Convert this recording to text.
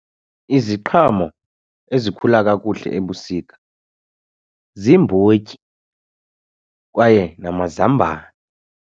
Iziqhamo ezikhula kakuhle ebusika ziimbotyi kwaye namazambane.